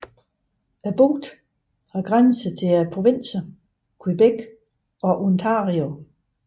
Bugten har grænser til provinserne Quebec og Ontario